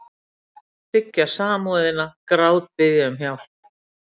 Þiggja samúðina, grátbiðja um hjálp.